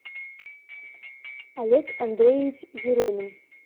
олег андреевич еремин